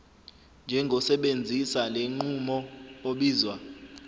njengosebenzisa lenqubo obizwa